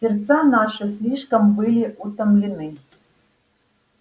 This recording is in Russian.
сердца наши слишком были утомлены